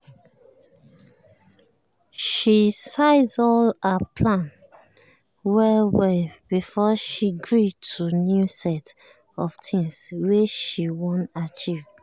she size all her plan well well before she gree to new set of things wey she wan achieve.